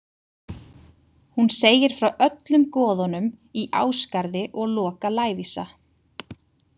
Hún segir frá öllum goðunum í Ásgarði og Loka lævísa.